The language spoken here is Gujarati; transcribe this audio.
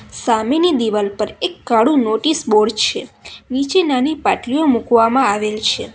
સામેની દીવાલ પર એક કાળું નોટિસ બોર્ડ છે નીચે નાની પાટલીઓ મૂકવામાં આવેલ છે.